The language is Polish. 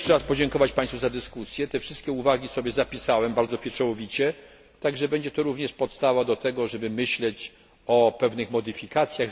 Chciałem jeszcze raz podziękować państwu za dyskusję, wszystkie uwagi zapisałem bardzo pieczołowicie i staną się one również podstawą do tego, żeby myśleć o pewnych modyfikacjach.